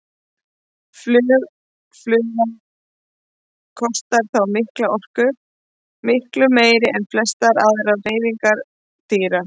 Flug fugla kostar þá mikla orku, miklu meiri en flestar aðrar hreyfingar dýra.